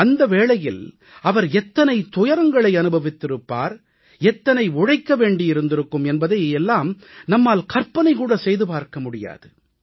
அந்த வேளையில் அவர் எத்தனை துயரங்களை அனுபவித்திருப்பார் எத்தனை உழைக்க வேண்டியிருந்திருக்கும் என்பதை எல்லாம் நம்மால் கற்பனை கூட செய்து பார்க்க முடியாது